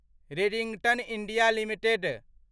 Redington India limited